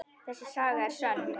Þessi saga er sönn.